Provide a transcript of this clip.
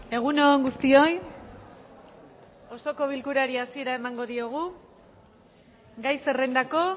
egun on guztioi osoko bilkurari hasiera emango diogu gai zerrendako